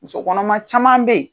Muso kɔnɔma caman be ye